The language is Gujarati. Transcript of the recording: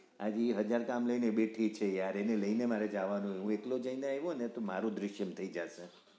હજી હાજર કામ લઇ ને બેઠી છે yaar એને લઇ ને મારે જાવાનું હું એટલે આવ્યો ને મારું દૃશ્યમ થઈ જાશે